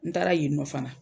N taara yen nɔ fana.